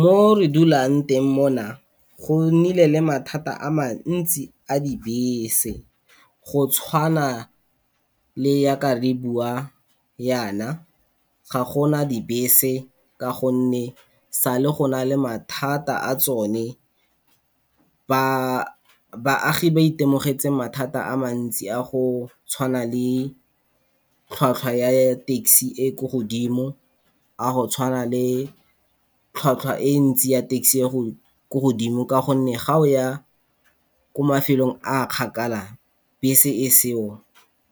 Mo re dulang teng mona go nnile le mathata a mantsi a dibese go tshwana le yaka re bua yana, ga gona dibese ka gonne sa le go na le mathata a tsone. Baagi ba itemogetse mathata a mantsi a go tshwana le tlhwatlhwa ya taxi e e ko godimo, a go tshwana le tlhwatlhwa e ntsi ya taxi ya go ko godimo, ka gonne ga go ya ko mafelong a kgakala bese e seo,